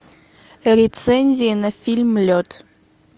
рецензии на фильм лед